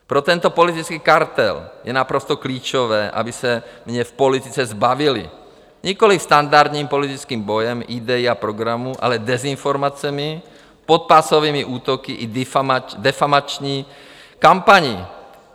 Pro tento politický kartel je naprosto klíčové, aby se mě v politice zbavili - nikoliv standardním politickým bojem idejí a programů, ale dezinformacemi, podpásovými útoky i defamační kampaní.